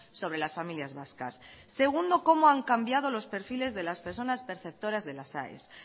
sobre las familias vascas segundo cómo han cambiado los perfiles de las personas perceptoras de las aes